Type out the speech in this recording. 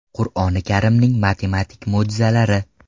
Qur’oni Karimning matematik mo‘jizalari.